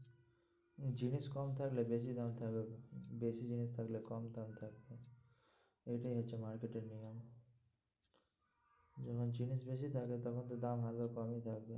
জিনিস কম থাকলে বেশি দাম থাকবে বেশি জিনিস থাকলে কম দাম থাকবে এইটাই হচ্ছে market এর নিয়ম যখন জিনিস বেশি থাকে তখন তো দাম ভালো কমই থাকে।